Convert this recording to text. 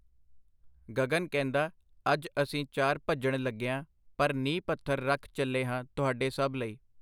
ਗਗਨ ਕਹਿੰਦਾ ਅੱਜ ਅਸੀਂ ਚਾਰ ਭੱਜਣ ਲੱਗੇਆਂ ਪਰ ਨੀਂਹ ਪੱਥਰ ਰੱਖ ਚੱਲੇ ਹਾਂ ਤੁਹਾਡੇ ਸਭ ਲਈ.